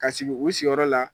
Ka sigi u siyɔrɔ la